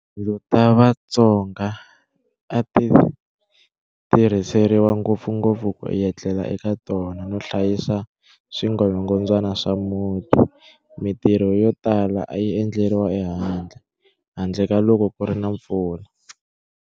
"Tindlu ta Vatsonga a ti tirhiseriwa ngopfungopfu ku etlela eka tona no hlayisa swingolongondzwana swa muti. Mitirho yo tala a yi endleriwa ehandle, handle ka loko ku ri na mpfula."